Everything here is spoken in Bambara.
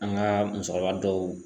An ga musokɔrɔba dɔw